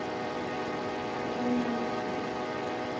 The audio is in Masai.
kayieu nalo shoo